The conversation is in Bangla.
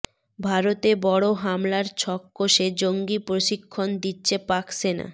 ভারতে বড় হামলার ছক কষে জঙ্গি প্রশিক্ষণ দিচ্ছে পাক সেনা